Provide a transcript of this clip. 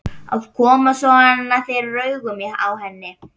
Að koma svona fyrir augun á henni.